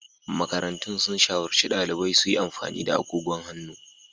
Makarantun sun shawarci daliban su yi amfani da agogon hannu.